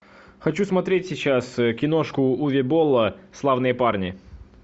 хочу смотреть сейчас киношку уве болла славные парни